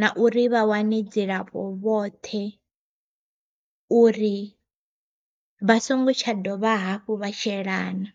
na uri vha wane dzilafho vhoṱhe uri vha songo tsha dovha hafhu vha shelana.